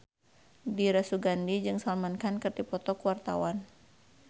Dira Sugandi jeung Salman Khan keur dipoto ku wartawan